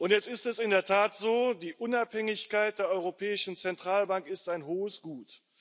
Jetzt ist es in der Tat so Die Unabhängigkeit der Europäischen Zentralbank ist ein hohes Gut.